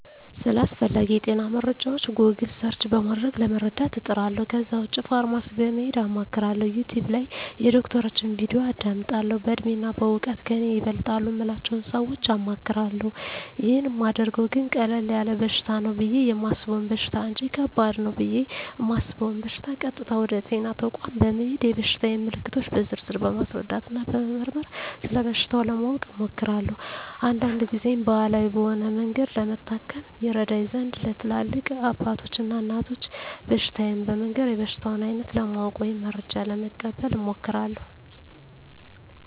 ስለ አስፈላጌ የጤና መረጃወች "ጎግል" ሰርች" በማድረግ ለመረዳት እጥራለሁ ከዛ ውጭ ፋርማሲ በመሄድ አማክራለሁ፣ "ዩቲውብ" ላይ የዶክተሮችን "ቪዲዮ" አዳምጣለሁ፣ በእድሜና በእውቀት ከኔ ይበልጣሉ ምላቸውን ሰወች አማክራለሁ። ይህን ማደርገው ግን ቀለል ያለ በሽታ ነው ብየ የማሰበውን በሽታ እንጅ ከባድ ነው ብየ እማስበውን በሸታ ቀጥታ ወደ ጤና ተቋም በመሄድ የበሽታየን ምልክቶች በዝርዝር በማስረዳትና በመመርመር ስለበሽታው ለማወቅ እሞክራለሁ። አንዳንድ ግዜም ባህላዊ በሆነ መንገድ ለመታከም ይረዳኝ ዘንድ ለትላልቅ አባቶች እና እናቶች በሽታየን በመንገር የበሽታውን አይነት ለማወቅ ወይም መረጃ ለመቀበል እሞክራለሁ።